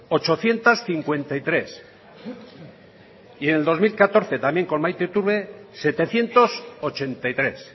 ochocientos cincuenta y tres y en el dos mil catorce también con maite iturbe setecientos ochenta y tres